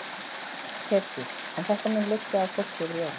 Hjördís: En þetta mun liggja á fólki yfir jólin?